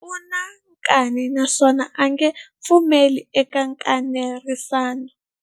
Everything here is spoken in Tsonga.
U na nkani naswona a nge pfumeli eka nkanerisano.